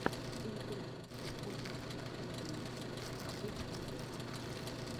интервью уральских пельменей в ютьюбе